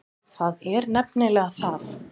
Það er nefnilega það.